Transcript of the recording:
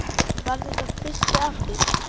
Var þetta fyrsti apríl?